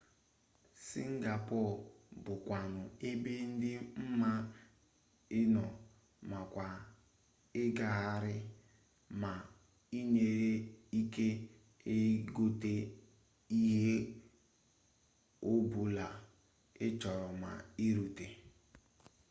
singapore bu kwanu ebe di mma ino makwa igaghari ma inwere ike igote ihe o bula i choro ma irute